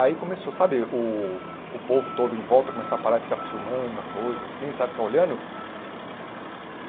Aí começou, sabe, o o povo todo em volta começar a parar e ficar filmando, a coisa assim, sabe, ficar olhando?